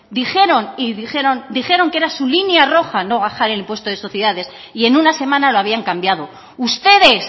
dijeron que era su línea roja no bajar el impuesto de sociedades y en una semana lo habían cambiado ustedes